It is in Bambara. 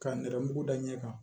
Ka nɛrɛmugu da ɲɛ kan